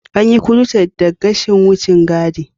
An yi krocet daga gashin wucin gadi.